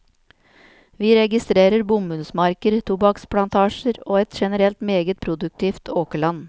Vi registrerer bomullsmarker, tobakksplantasjer og et generelt meget produktivt åkerland.